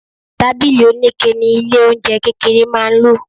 Tábìlì onike ni ilé-oúnjẹ kékeré máa ń lò.